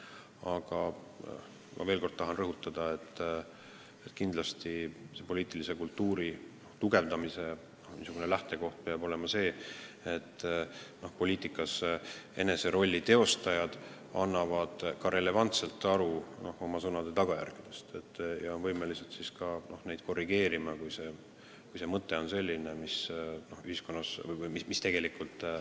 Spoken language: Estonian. Aga ma veel kord tahan rõhutada, et poliitilise kultuuri arendamise lähtekoht peab olema see, et end poliitikas teostavad inimesed annavad endale relevantselt aru oma sõnade tagajärgedest ja on võimelised end korrigeerima, kui mõtet on teatud sõnastuse tõttu valesti tõlgendatud.